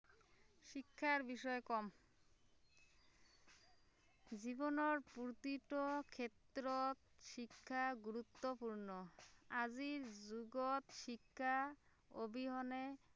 শিক্ষাৰ বিষয়ে কম জীৱনৰ প্ৰতিটো ক্ষেত্ৰত শিক্ষা গুৰুত্বপূৰ্ণ আজিৰ যুগত শিক্ষাৰ অবিহনে